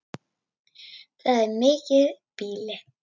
Það er mikið býli.